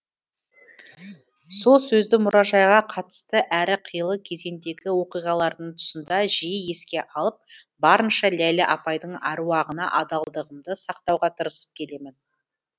сол сөзді мұражайға қатысты әрі қилы кезеңдегі оқиғалардың тұсында жиі еске алып барынша ләйлә апайдың әруағына адалдығымды сақтауға тырысып келемін